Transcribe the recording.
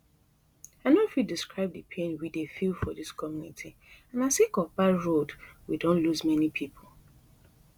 i no fit describe di pain we dey feel for dis community and na sake of bad road we don lose many pipo